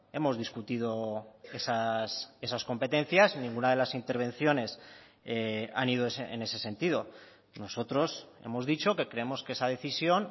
hemos discutido esas competencias en ninguna de las intervenciones han ido en ese sentido nosotros hemos dicho que creemos que esa decisión